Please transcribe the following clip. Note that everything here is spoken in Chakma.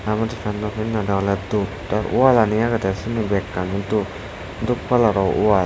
manuj penno pinnede olode dup te walani agede sini bekkani dup dup kalaro wal.